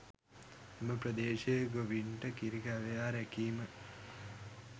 එම ප්‍රදේශයේ ගොවින්ට කිරි ගවයා රැකිම